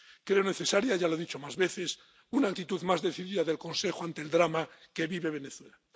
Creo necesaria —ya lo he dicho más veces— una actitud más decidida del Consejo ante el drama que vive Venezuela.